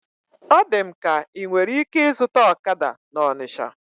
Ọ dị m ka inwere ike ịzụta ọkada na Ọnisha